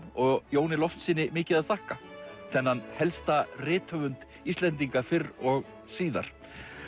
og Jóni Loftssyni mikið að þakka þennan helsta rithöfund Íslendinga fyrr og síðar